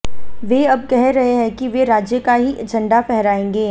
वे अब कह रहे हैं कि वे राज्य का ही झंडा फहराएंगे